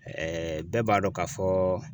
Ɛɛ bɛɛ b'a dɔn k'a fɔ